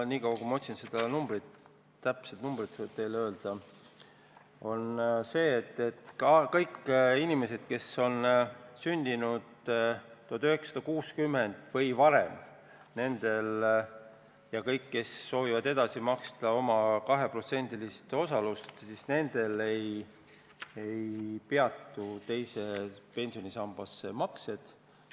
Nii kaua, kui ma seda täpset numbrit otsin, võin teile öelda, et kõigil neil inimestel, kes on sündinud 1960 või varem ja kes ise soovivad oma 2% edasi maksta, ei peatu teise pensionisambasse maksete tegemine.